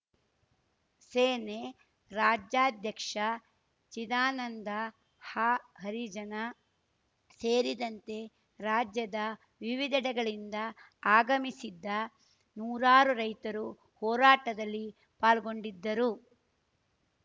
ಸೇನೆ ರಾಜ್ಯಾಧ್ಯಕ್ಷ ಚಿದಾನಂದ ಹಹರಿಜನ ಸೇರಿದಂತೆ ರಾಜ್ಯದ ವಿವಿಧೆಡೆಗಳಿಂದ ಆಗಮಿಸಿದ್ದ ನೂರಾರು ರೈತರು ಹೋರಾಟದಲ್ಲಿ ಪಾಲ್ಗೊಂಡಿದ್ದರು